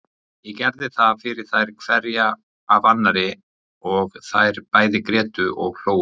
Ég gerði það fyrir þær hverja af annarri og þær bæði grétu og hlógu.